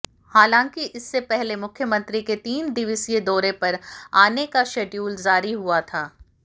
हालांकि इससे पहले मुख्यमंत्री के तीन दिवसीय दौरे पर आने का शेड्यूल जारी हुआ था